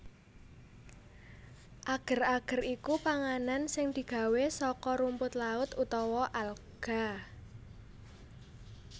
Ager ager iku panganan sing digawé saka rumput laut utawa alga